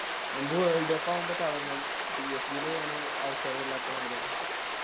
എംബു Worldcup ആവുമ്പൊ തെളങ്ങും PSG ല് ഒന് അവസരമില്ലാത്ത മാരിയാണ്